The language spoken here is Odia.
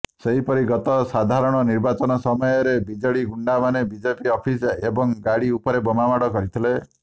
ସେହିପରି ଗତ ସାଧାରଣ ନିର୍ବାଚନ ସମୟରେ ବିଜେଡି ଗୁଣ୍ଡାମାନେ ବିଜେପି ଅଫିସ ଏବଂ ଗାଡି ଉପରେ ବୋମାମାଡ କରିଥିଲେ